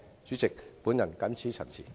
主席，我謹此陳辭。